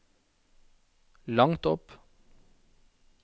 langt opp